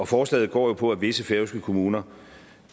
forslaget går jo på at visse færøske kommuner